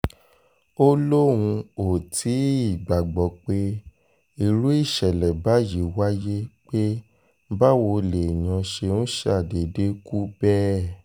ó lóun ò tí ì gbàgbọ́ pé irú ìṣẹ̀lẹ̀ báyìí wáyé pé báwo lèèyàn ṣe ń ṣàdédé kú bẹ́ẹ̀